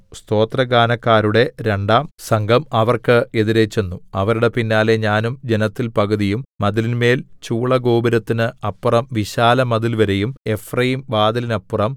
സ്തോത്രഗാനക്കാരുടെ രണ്ടാം സംഘം അവർക്ക് എതിരെ ചെന്നു അവരുടെ പിന്നാലെ ഞാനും ജനത്തിൽ പകുതിയും മതിലിന്മേൽ ചൂളഗോപുരത്തിന് അപ്പുറം വിശാലമതിൽവരെയും എഫ്രയീംവാതിലിനപ്പുറം